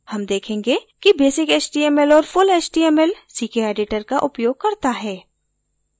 html देखेंगे कि basic html और full html ckeditor का उपयोग करता है